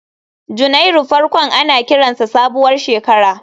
Janairu farkon ana kiransa sabuwar shekara